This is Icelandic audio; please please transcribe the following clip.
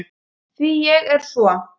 Því ég er svo